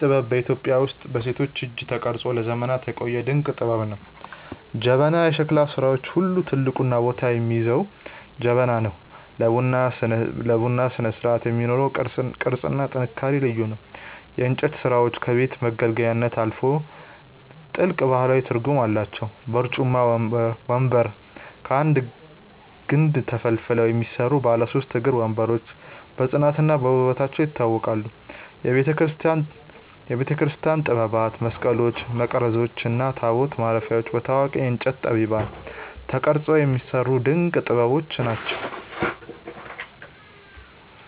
ይህ ጥበብ በኢትዮጵያ ውስጥ በሴቶች እጅ ተቀርጾ ለዘመናት የቆየ ድንቅ ጥበብ ነው። ጀበና፦ ከሸክላ ሥራዎች ሁሉ ትልቁን ቦታ የሚይዘው ጀበና ነው። ለቡና ስነስርዓት የሚኖረው ቅርጽና ጥንካሬ ልዩ ነው። የእንጨት ሥራዎቻችን ከቤት መገልገያነት አልፈው ጥልቅ ባህላዊ ትርጉም አላቸው። በርጩማ (ወንበር)፦ ከአንድ ግንድ ተፈልፍለው የሚሰሩ ባለ ሦስት እግር ወንበሮች በጽናትና በውበታቸው ይታወቃሉ። የቤተክርስቲያን ጥበባት፦ መስቀሎች፣ መቅረዞች እና ታቦት ማረፊያዎች በታዋቂ የእንጨት ጠቢባን ተቀርጸው የሚሰሩ ድንቅ ጥበቦች ናቸው።